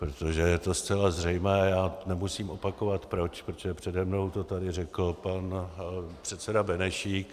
Protože je to zcela zřejmé, já nemusím opakovat proč, protože přede mnou to tady řekl pan předseda Benešíka.